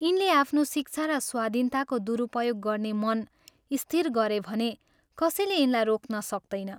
यिनले आफ्नो शिक्षा र स्वाधीनताको दुरुपयोग गर्ने मन स्थिर गरे भने कसैले यिनलाई रोक्न सक्तैन।